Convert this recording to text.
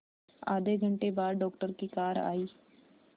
आधे घंटे बाद डॉक्टर की कार आई